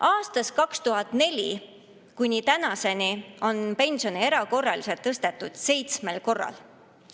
Aastast 2004 kuni tänaseni on pensione erakorraliselt tõstetud seitsmel korral.